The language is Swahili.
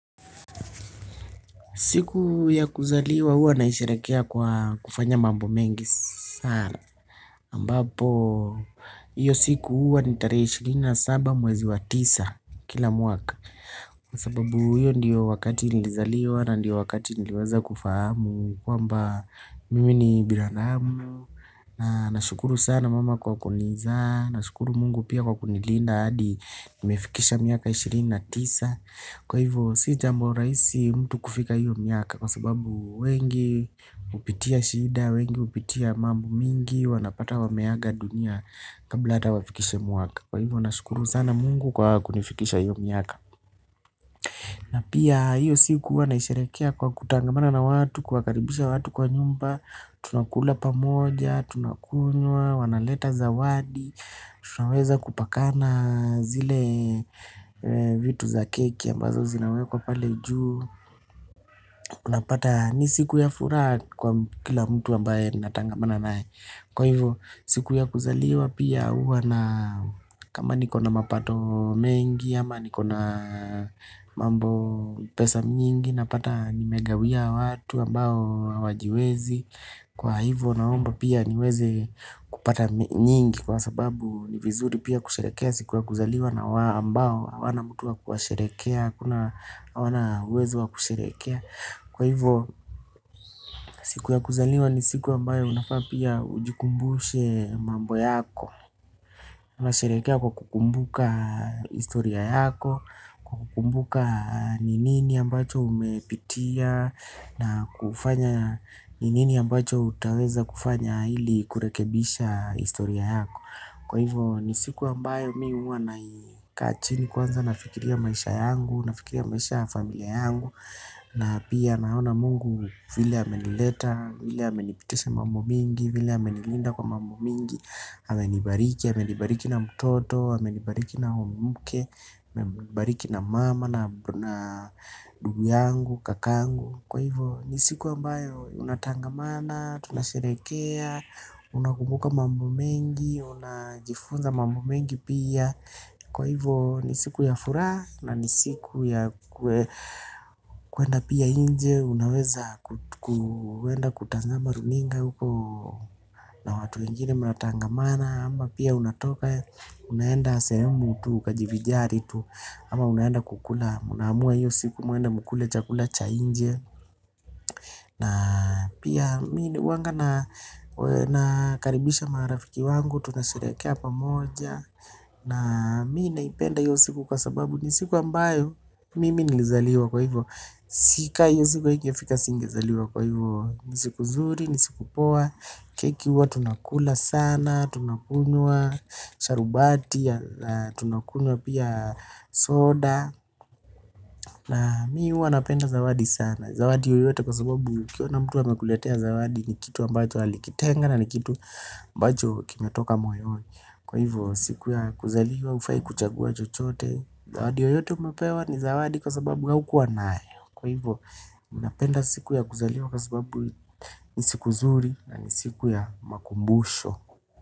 Siku ya kuzaliwa huwa naisherehekea kwa kufanya mambo mengi sana. Ambapo, hiyo siku huwa ni tarehe ishirini na saba mwezi wa tisa kila mwaka. Kwa sababu hiyo ndiyo wakati nilizaliwa na ndiyo wakati niliweza kufahamu. Kwamba, mimi ni binadamu. Na, na shukuru sana mama kwa kunizaa. Na, na shukuru mungu pia kwa kunilinda hadi nimefikisha miaka ishirini na tisa. Kwa hivyo, si jambo raisi mtu kufika hiyo miaka. Kwa sababu wengi hupitia shida, wengi hupitia mambo mingi. Wanapata wameaga dunia kabla hata wafikishe mwaka. Kwa hivyo na shukuru sana mungu kwa kunifikisha hiyo miaka. Na pia hiyo siku huwa naisherehekea kwa kutangamana na watu. Kuwakaribisha watu kwa nyumba. Tunakula pamoja, tunakunywa, wanaleta zawadi. Tunaweza kupakana zile vitu za keki ambazo zinawekwa pale juu unapata ni siku ya furaha kwa kila mtu ambaye natangamana naye. Kwa hivyo siku ya kuzaliwa pia huwa na kama niko na mapato mengi ama niko na mambo pesa nyingi napata nimegawia watu ambao hawajiwezi. Kwa hivo naomba pia niweze kupata nyingi kwa sababu ni vizuri pia kusherekea siku ya kuzaliwa na wa ambao wana mutu ea kuasherehekea. Kuna hawana uwezo wa kusherehekea. Kwa hivo siku ya kuzaliwa ni siku ambayo unafaa pia ujikumbushe mambo yako. Una sherekea kwa kukumbuka historia yako, kukumbuka ni nini ambacho umepitia. Na kufanya ni nini ambacho utaweza kufanya ili kurekebisha historia yako. Kwa hivyo ni siku ambayo mi huwa naikaa chini kwanza na fikiria maisha yangu. Na fikiria maisha familia yangu. Na pia naona mungu vile amenileta. Vile amenipitisha mambo mingi. Vile amenilinda kwa mambo mingi amenibariki, amenibariki na mtoto amenibariki na muke amenibariki na mama na ndugu yangu, kakangu. Kwa hivyo ni siku ambayo unatangamana, tunasherehekea, unakumbuka mambo mengi, unajifunza mambo mengi pia. Kwa hivyo ni siku ya furaha na ni siku ya kuenda pia inje, unaweza kuenda kutazama runinga huko. Na watu wengine mnatangamana ama pia unatoka, unaenda sehemu tu ukajivijari tu. Ama unaenda kukula mna amua hiyo siku muende mkule chakula cha inje. Na pia huwanga nakaribisha marafiki wangu tunasherehekea pamoja. Na mi naipenda hiyo siku kwa sababu ni siku ambayo mimi nilizaliwa kwa hivyo. Si ka hiyo siku ingefika singezaliwa kwa hivyo. Ni siku zuri, ni siku poa, keki huwa tunakula sana, tunakunywa, sharubati, tunakunywa pia soda. Na mi huwa napenda zawadi sana. Zawadi yoyote kwa sababu ukiona mtu amekuletea zawadi. Ni kitu ambacho alikitenga na ni kitu ambacho kimetoka moyoni. Kwa hivyo siku ya kuzaliwa ufai kuchagua chochote. Zawadi yoyote umepewa ni zawadi kwa sababu haukuwa nayo. Kwa hivyo ninapenda siku ya kuzaliwa kwa sababu ni siku zuri. Na ni siku ya makumbusho.